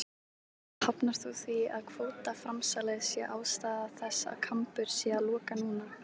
Lára: Hafnar þú því að kvótaframsalið sé ástæða þess að Kambur sé að loka núna?